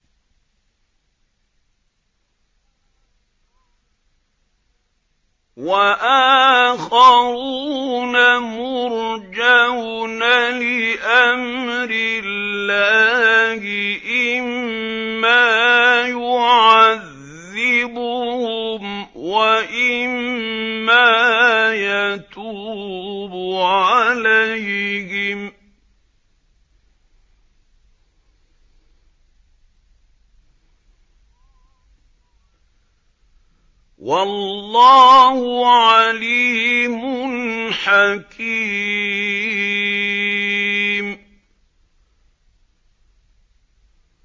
وَآخَرُونَ مُرْجَوْنَ لِأَمْرِ اللَّهِ إِمَّا يُعَذِّبُهُمْ وَإِمَّا يَتُوبُ عَلَيْهِمْ ۗ وَاللَّهُ عَلِيمٌ حَكِيمٌ